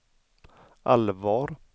allvar